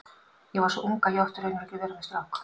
Ég var svo ung að ég átti raunar ekki að vera með strák.